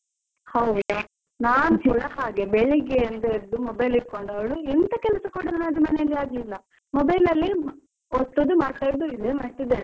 ಹೌದ, ನಾನ್ ಕೂಡ ಹಾಗೆ ಬೆಳ್ಳಿಗಿಂದ ಎದ್ದು mobile ಹಿಟ್ಕೊಂಡೊಳು ಎಂಥ ಕೆಲಸ ಕೂಡ ನನದು ಮನೇಲಿ ಆಗ್ಲಿಲ್ಲ, mobile ಅಲ್ಲೇ ಒತ್ತುದು ಮಾತಾಡೋದ್, ಇದೆ ಮಾಡ್ತಾ ಇದ್ದೇನೆ.